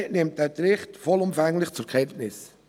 Die glp nimmt diesen Bericht vollumfänglich zur Kenntnis.